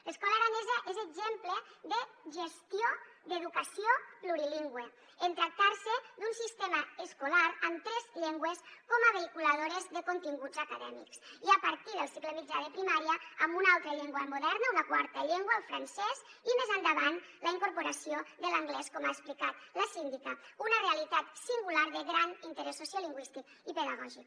l’escola aranesa és exemple de gestió d’educació plurilingüe en tractarse d’un sistema escolar amb tres llengües com a vehiculadores de continguts acadèmics i a partir del cicle mitjà de primària amb una altra llengua moderna una quarta llengua el francès i més endavant amb la incorporació de l’anglès com ha explicat la síndica una realitat singular de gran interès sociolingüístic i pedagògic